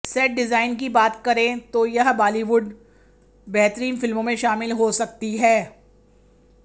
set design की बात करें तो यह बॉलीवुड बेहतरीन फिल्मों में शामिल हो सकती है